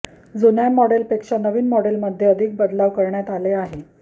जुन्या मॉडेलपेक्षा नवीन मॉडेलमध्ये अधिक बदलाव करण्यात आले आहे